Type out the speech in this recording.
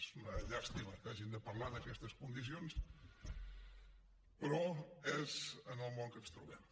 és una llàstima que hàgim de parlar en aquestes condicions però és el món en què ens trobem